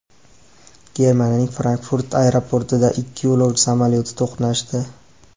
Germaniyaning Frankfurt aeroportida ikki yo‘lovchi samolyoti to‘qnashdi.